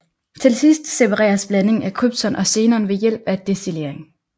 Til sidst separeres blandingen af krypton og xenon ved hjælp af destillering